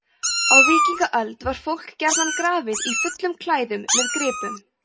á víkingaöld var fólk gjarnan grafið í fullum klæðum með gripum